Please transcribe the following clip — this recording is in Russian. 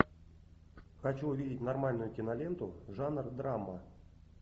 хочу увидеть нормальную киноленту жанр драма